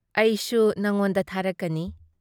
ꯑꯩꯁꯨ ꯅꯪꯉꯣꯟꯗ ꯊꯥꯔꯛꯀꯅꯤ ꯫